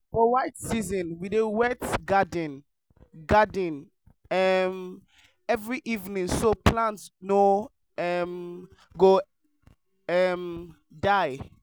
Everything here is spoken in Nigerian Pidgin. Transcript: for dry season we dey wet garden garden um every evening so plants no um go um die.